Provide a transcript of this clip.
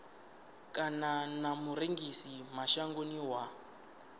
kana na murengisi mashangoni wa